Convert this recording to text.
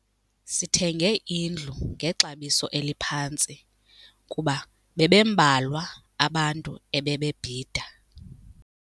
Sithenge indlu ngexabiso eliphantsi kuba bebembalwa abantu ebebebhida.